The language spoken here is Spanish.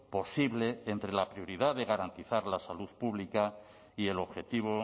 posible entre la prioridad de garantizar la salud pública y el objetivo